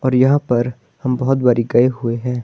और यहाँ पर हम बहोत बरी गए हुए हैं।